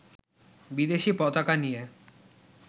বিদেশী পতাকা নিয়ে